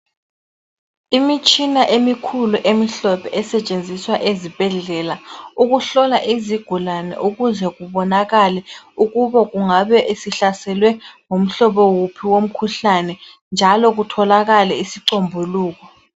Imitshina emikhulu emihlophe esetshenziswa ezibhedlela. Ukuhlola izigulane ukuze kubonakale ukube kungabe isihlaselwe ngumhlobo wuphi womkhuhlane. Njalo kutholakale isicombuluko.